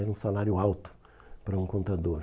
Era um salário alto para um contador.